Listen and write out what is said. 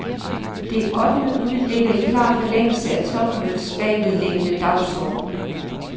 Det ottende bud ligger i klar forlængelse af topmødets bagvedliggende dagsorden.